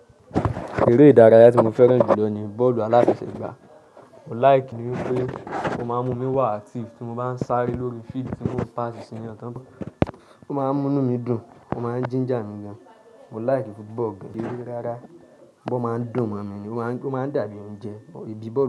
Eré ìdárayá tí mo fẹ́ràn jù lọ ni bọ́ọ̀lù aláfẹ̀sẹ̀gbà. Mo like wipé ó máa ń mú mí wà active, tí mo bá ń sáré lórí field tí wọ́n o pass sí eeyan tán, ó máa ń mú inu mí dùn, ó máa ń ginger mi gan. Mo like football gidi rárá. Boolu máa ń dùn mọ mi ni, ó máa ń dàbí oúnjẹ, idí bọ́ọ̀lù.